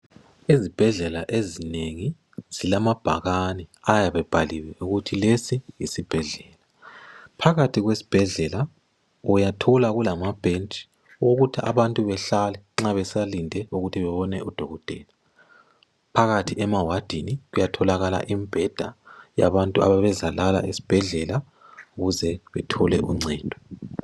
Izibhedlela ezinengi zilamabhakane ayabe ebhaliwe ukuthi lesi yisibhedlela ,phakathi kwesibhedlela uyathola kulama bhentshi okuthi abantu behlale nxa besalinde ukuthi bebone udokotela, phakathi emawadini kuyatholakala imibheda yabantu ababe zalala esibhedlela ukuze bethole uncedo.